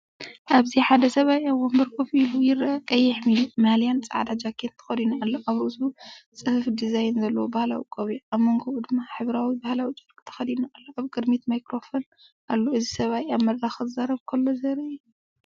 ኣብዚ ሓደ ሰብኣይ ኣብ መንበር ኮፍ ኢሉ ይርአ። ቀይሕ ማልያን ጻዕዳ ጃኬትን ተኸዲኑ ኣሎ። ኣብ ርእሱ ጽፉፍዲዛይን ዘለዎ ባህላዊ ቆቢዕ፡ኣብ መንኵቡ ድማ ሕብራዊ ባህላዊጨርቂ ተኸዲኑ ኣሎ። ኣብ ቅድሚት ማይክሮፎን ኣሎ። እዚ ሰብኣይ ኣብ መድረኽ ክዛረብ ከሎ ዘርኢ እዩ።